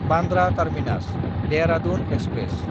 Bandra टार्मिनास–देहरादुन express